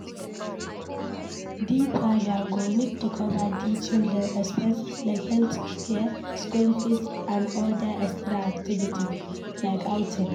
Di father go need to cover di children expenses like healthcare, school fees and oda extra activities like outing